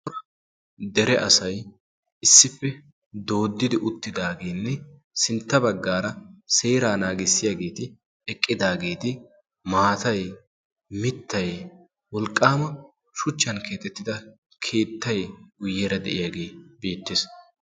Dere asay issippe dooddidi uttidaageenne sintta baggaara seeraa naagissiyaageeti eqqidaageeti maatay mittay wolqqaama shuchchan keatettida keettay guyyeera de'iyaagee beettees.